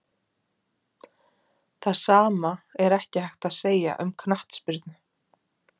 Það sama er ekki hægt að segja um knattspyrnu.